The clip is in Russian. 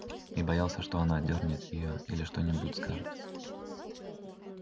и боялся что она отдёрнет её или что нибудь скажет